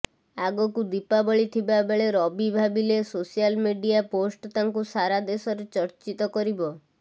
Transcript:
ଆଗକୁ ଦୀପାବଳି ଥିବା ବେଳେ ରବି ଭାବିଥିଲେ ସୋସାଲ ମିଡିଆ ପୋଷ୍ଟ ତାଙ୍କୁ ସାରା ଦେଶରେ ଚର୍ଚ୍ଚିତ କରିବ